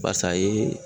Basa ye